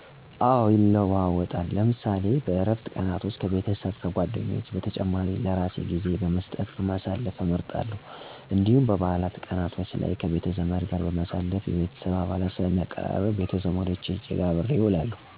አወ ይለዋወጣል። ለምሳሌ በእረፍት ቀናቶች ከቤተሰብ፣ ከጓደኞቼ በተጨማሪም ለራሴ ጊዜ በመሰጠት ማሳለፍ እመርጣለው እንዲሁም በባዓላት ቀናቶቼ ላይ ከቤተ-ዘመድ ጋር ማሳለፍ የቤተሰብ አባላትን ሰለሚያቀራርብ ወደ ቤተ-ዘመዶቼ ሄጄ አብሬያቸው አሳልፋለው። ዝናባማ ቀኖች የዕለት እንቅስቃሴየ ላይ ችግር የላቸውም ምክንያቱም ዝናብ ሰለሚያስደስተኝ።